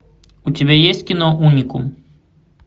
у тебя есть кино уникум